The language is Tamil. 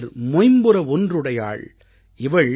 மொய்ம்புற ஒன்றுடையாள் இவள்